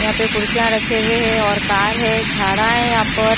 यहां पे कुर्सियां रखे हुए हैं और कार है झाड़ा है यहां पर।